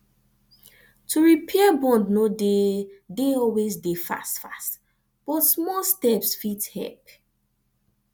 to repair bond no de de always dey fast fast but smal steps fit help